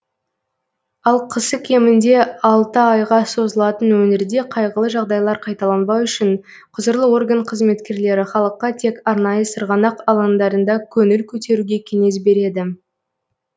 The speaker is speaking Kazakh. ал қысы кемінде алты айға созылатын өңірде қайғылы жағдайлар қайталанбау үшін құзырлы орган қызметкерлері халыққа тек арнайы сырғанақ алаңдарында көңіл көтеруге кеңес береді